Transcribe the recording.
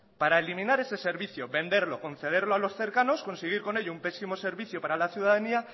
para eliminar ese servicio venderlo concederlo a los cercanos conseguir con ello un pésimo servicio para la ciudadanía